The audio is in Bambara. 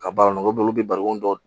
Ka baara nɔgɔ b'olu bɛ barikon dɔ